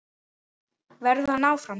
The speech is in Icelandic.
Verður hann áfram?